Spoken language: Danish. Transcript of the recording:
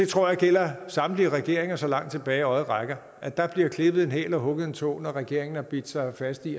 tror det gælder samtlige regeringer så langt tilbage øjet rækker at der bliver klippet en hæl og hugget en tå når en regering har bidt sig fast i